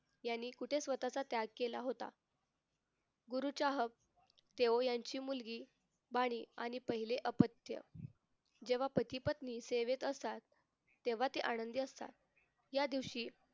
यांनी कुठे स्वतःचा त्याग केला होता गुरुचाहक तेओ यांची मुलगी बानी आणि पहिले अपत्य जेव्हा पहिली पत्नी सेवेत असाल तेव्हा ती आनंदी असतात या दिवशी